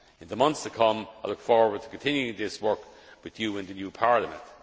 In the months to come, I look forward to continuing this work with you in the new Parliament.